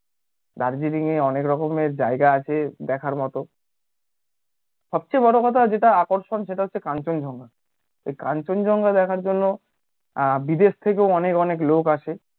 দার্জিলিঙে অনেক রকম এর জায়গা আছে দেখার মতো সব চেয়ে বড়ো কথা যেটা আকর্ষণ সেটা হচ্ছে কাঞ্চনজঙ্ঘা ওই কাঞ্চনজঙ্ঘা দেখার জন্য আহ বিদেশ থেকেও অনেক অনেক লোক আসে